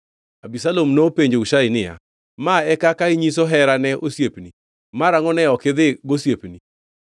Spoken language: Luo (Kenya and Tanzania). Abisalom nopenjo Hushai niya, “Ma e kaka inyiso hera ne osiepni? Marangʼo ne ok idhi gosiepni?”